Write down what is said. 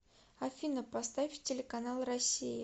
афина поставь телеканал россия